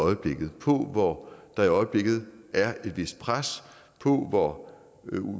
på hvor der i øjeblikket er et vist pres og på hvor